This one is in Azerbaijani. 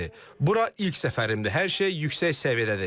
Bura ilk səfərimdir, hər şey yüksək səviyyədədir.